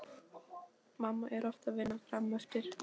Mamma er oft að vinna frameftir.